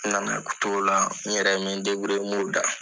N na na t'o la n yɛrɛ me n m'o da.